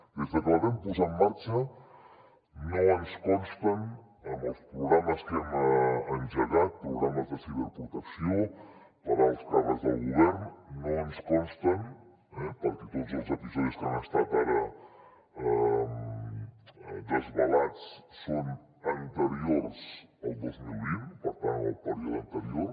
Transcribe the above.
des de que la vam posar en marxa no ens consten amb els programes que hem engegat programes de ciberprotecció per a alts càrrecs del govern perquè tots els episodis que han estat ara desvelats són anteriors al dos mil vint per tant en el període anterior